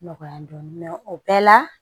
Nɔgɔya dɔɔnin o bɛɛ la